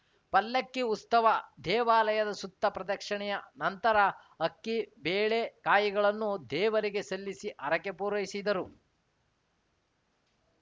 ಪಲ್ಲಕ್ಕಿ ಉಸ್ತವ ದೇವಾಲಯದ ಸುತ್ತ ಪ್ರದಕ್ಷಿಣೆಯ ನಂತರ ಅಕ್ಕಿ ಬೇಳೆ ಕಾಯಿಗಳನ್ನು ದೇವರಿಗೆ ಸಲ್ಲಿಸಿ ಹರಕೆ ಪೂರೈಸಿದರು